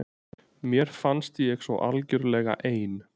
Mér fannst ég svo algjörlega ein.